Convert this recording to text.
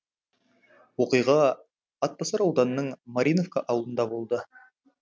оқиға атбасар ауданының мариновка ауылында болды